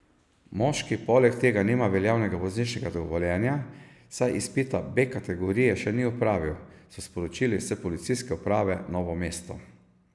Moški poleg tega nima veljavnega vozniškega dovoljenja, saj izpita B kategorije še ni opravil, so sporočili s Policijske uprave Novo mesto.